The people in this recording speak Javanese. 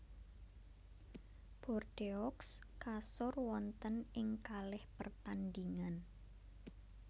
Bordeaux kasor wonten ing kalih pertandhingan